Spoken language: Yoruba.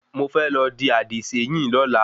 Mo fẹ́ lọ dì àdìséyìn lọ́la